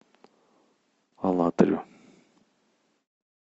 алатырю